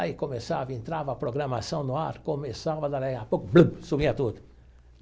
Aí começava, entrava a programação no ar, começava, sumia tudo.